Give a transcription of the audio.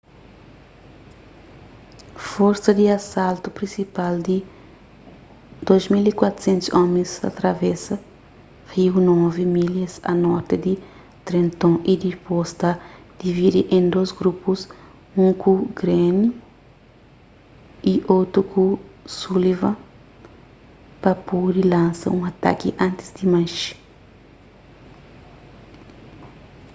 forsa di asaltu prinsipal di 2.400 omis ta travesa riu novi milhas a norti di trenton y dipôs ta dividi en dôs grupus un ku greene y otu ku sullivan pa pode lansa un ataki antis di manxe